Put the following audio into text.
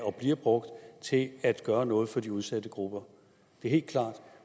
og bliver brugt til at gøre noget for de udsatte grupper det er helt klart